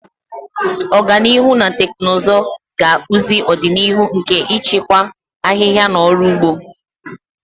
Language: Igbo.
Ọganihu na teknụzụ ga-akpụzi ọdịnihu nke ịchịkwa ahịhịa na ọrụ ugbo.